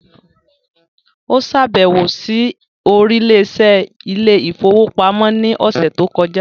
Ó ṣàbẹ̀wò sí oríléeṣẹ́ ilé ìfowópamọ́ ní ọ̀sẹ̀ tó kọjá.